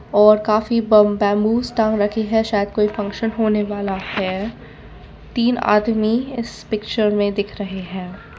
और काफी बम बैम्बूस रखी है शायद कोई फंक्शन होने वाला है तीन आदमी इस पिक्चर में दिख रहे हैं।